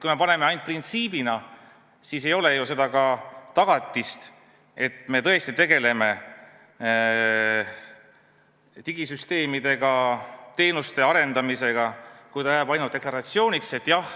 Kui me paneme kirja ainult printsiibi, siis ei ole ju tagatist, et me tõesti tegeleme digisüsteemidega, teenuste arendamisega, siis see jääb ainult deklaratsiooniks.